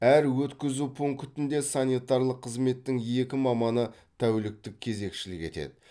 әр өткізу пунктінде санитарлық қызметтің екі маманы тәуліктік кезекшілік етеді